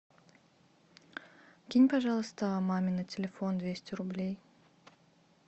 кинь пожалуйста маме на телефон двести рублей